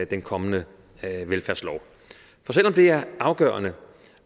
den kommende velfærdslov det er afgørende